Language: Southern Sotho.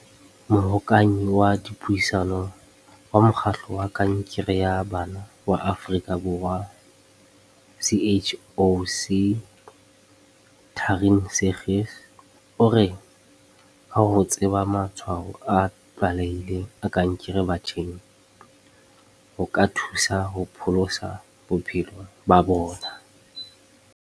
Mohokanyi wa Dipuisano wa Mokgatlo wa Kankere ya Bana wa Afrika Borwa, CHOC, Taryn Seegers, o re ka ho tseba matshwao a tlwaelehileng a kankere batjheng, o ka thusa ho pholosa bophelo ba bona.